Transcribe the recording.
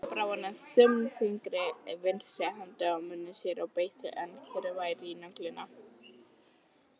Svo brá hann þumalfingri vinstri handar að munni sér og beit angurvær í nöglina.